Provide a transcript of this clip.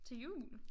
Til jul?